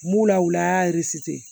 M'u lawil'a